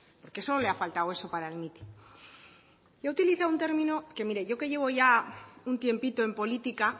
porque solo le ha faltado eso para el mitin se ha utilizado un término que mire yo que llevo ya un tiempito en política